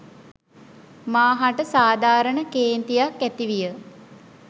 මා හට සාධාරණ කේන්තියක් ඇතිවිය